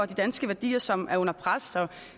de danske værdier som er under pres